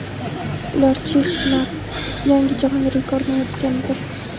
Ular Chestnat yangi jahon rekordi o‘rnatganini tasdiqladi.